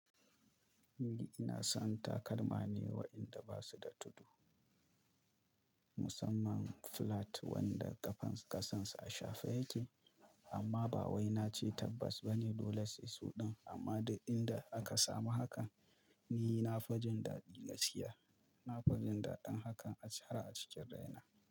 Ni ina son takalma ne waɗanda ba su da tudu, musamman flat wanda ƙafan ƙasansa a shafe yake. Amma ba wai nace tabbas bane dole sai sunan, amma duk inda aka samu haka ni na fi jin daɗi da ciyar. Na fi jin daɗin hakan a ci a cikin raina.